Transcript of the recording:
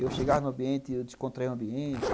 Eu chegava no ambiente, eu descontraía o ambiente.